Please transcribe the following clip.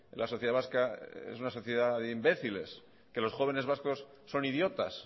la sociedad vasca es una sociedad de imbéciles que los jóvenes vascos son idiotas